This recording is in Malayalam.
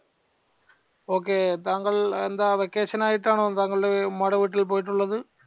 ok താങ്കൾ എന്ത vacation ആയിട്ടാണോ താങ്കൾടെ ഉമ്മാടെ വീട്ടിൽ പോയിട്ടുള്ളത്